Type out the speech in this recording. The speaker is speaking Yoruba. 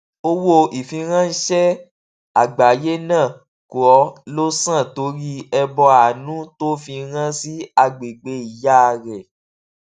owó ìfiránṣé àgbáyé náà kọ ló san torí ẹbọ àánú tó fi rán sí agbègbè ìyá rẹ